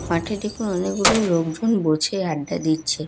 মাঠের উপর অনেকগুলো লোকজন বসে আড্ডা দিচ্ছে।